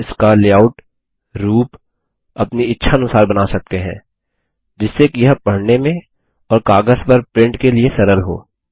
हम इसका लेआउट रूप अपनी इच्छानुसार बना सकते हैं जिससे कि यह पढने में और कागज़ पर प्रिंट के लिए सरल हो